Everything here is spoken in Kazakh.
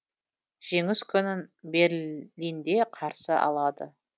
жеңіс күнін берлинде қарсы алады